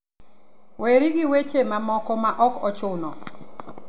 Weri gi weche mamoko ma ok ochuno.